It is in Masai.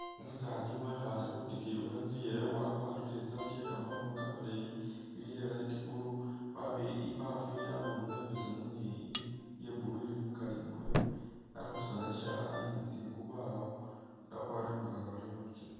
Umusaani wekhale khwitikiyi khwe nzu yewe wakwalire i'saati yekamakhoono kamaleeyi iya light blue wa ibaafu ili a'bundulo imbesemu ni i iya blue ili mukali mwayo Ali khusoona sishalani ni tsingubo awo akwalire mugagawale mubigele